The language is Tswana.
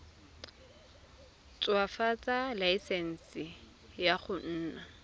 ntshwafatsa laesense ya go nna